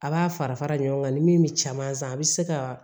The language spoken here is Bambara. A b'a fara fara ɲɔgɔn kan ni min bɛ caman san a bɛ se ka